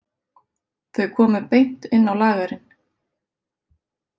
Þau komu beint inn á lagerinn.